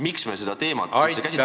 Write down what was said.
Miks me üldse seda teemat käsitleme?